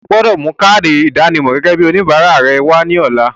O gbọdọ̀ mú káádì ìdánimọ̀ gẹ́gẹ́ bíi oníbàárà rẹ wá ní ọ̀la.